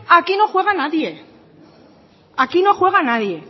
aquí no juega nadie